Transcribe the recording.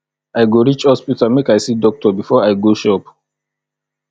i go reach hospital make i see doctor before i go shop